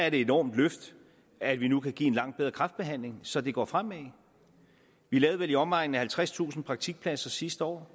et enormt løft at vi nu kan give en langt bedre kræftbehandling så det går fremad vi lavede vel i omegnen af halvtredstusind praktikpladser sidste år